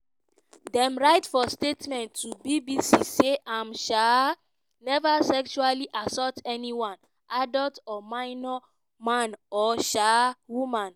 dem write for statement to bbc say im um "never sexually assault anyone - adult or minor man or um woman".